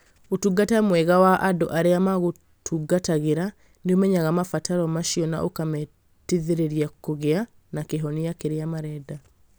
Ũtungata mwega wa andũ arĩa maragũtungatĩra nĩ ũmenyaga mabataro macio na ũkamateithĩrĩria kũgĩa na kĩhonia kĩrĩa marenda.